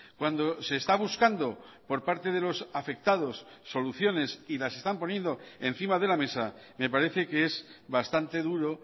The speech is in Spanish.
cuando se está buscando por parte de los afectados soluciones y las están poniendo encima de la mesa me parece que es bastante duro